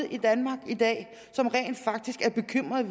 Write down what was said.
i danmark i dag som rent faktisk er bekymret